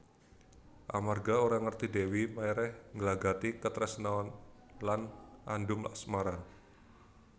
Amarga ora ngerti Dèwi Maérah nglagati katresnan lan andum asmara